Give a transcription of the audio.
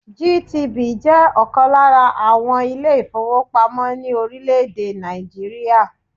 GTB jẹ́ ọ̀kan lára àwọn ilé-ìfowópamọ́ ní orílẹ̀-èdè Nàìjíríà.